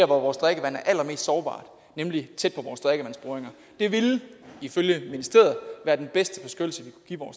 hvor vores drikkevand er allermest sårbart nemlig tæt på vores drikkevandsboringer det ville ifølge ministeriet være den bedste beskyttelse